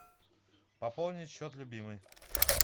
пополнить счет любимой